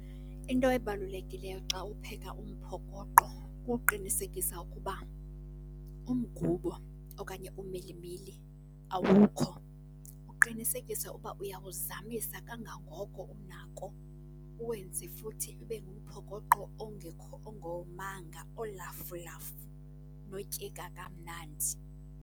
Into ebalulekileyo xa upheka umphokoqo kuqinisekisa ukuba umgubo okanye umilimili awukho, uqinisekise uba uyawuzamisa kangangoko unako. Uwenze futhi ibe ngumphokoqo ongekho, ongomanga, olafulafu notyeka kamnandi.